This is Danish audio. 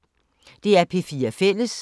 DR P4 Fælles